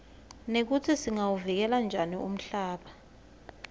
nekutsi singawuvikela njani umhlaba